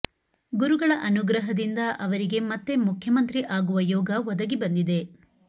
ಗುರುಗಳ ಅನುಗ್ರಹದಿಂದ ಅವರಿಗೆ ಮತ್ತೆ ಮುಖ್ಯಮಂತ್ರಿ ಆಗುವ ಯೋಗ ಒದಗಿ ಬಂದಿದೆ